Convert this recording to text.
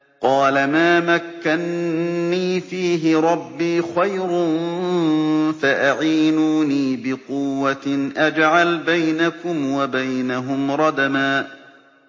قَالَ مَا مَكَّنِّي فِيهِ رَبِّي خَيْرٌ فَأَعِينُونِي بِقُوَّةٍ أَجْعَلْ بَيْنَكُمْ وَبَيْنَهُمْ رَدْمًا